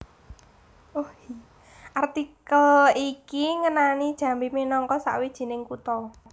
Artikel iki ngenani Jambi minangka sawijining kutha